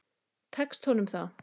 Tekst honum það?